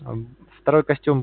второй костюм